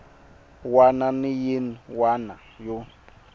wana na yin wana yo